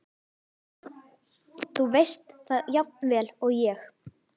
Þú veist það jafnvel og ég.